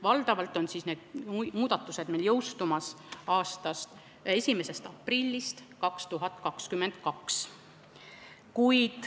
Valdavalt jõustuvad need muudatused 1. aprillist 2022.